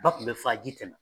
Ba kun bɛ fa ji tɛ na.